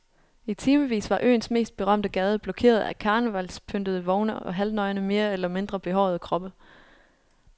I timevis var øens mest berømte gade blokeret af karnevalspyntede vogne og halvnøgne mere eller mindre behårede kroppe.